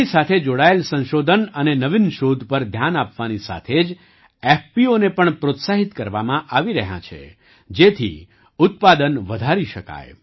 તેની સાથે જોડાયેલ સંશોધન અને નવીન શોધ પર ધ્યાન આપવાની સાથે જ એફપીઓને પણ પ્રોત્સાહિત કરવામાં આવી રહ્યાં છે જેથી ઉત્પાદન વધારી શકાય